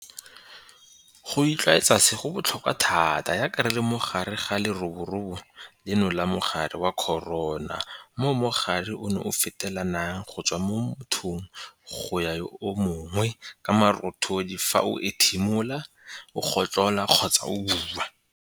Go itlwaetsa se go botlhokwa thata jaaka re le mo gare ga leroborobo leno la mogare wa corona mo mogare ono o fetelanang go tswa mo mothong go ya go yo mongwe ka marothodi fa o ethimola, o gotlhola kgotsa o bua.